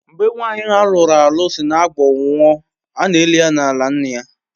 Mgbe nwanyi alụru alụ sị Agbor nwụọ, ana elị ya n'ala nna-ya.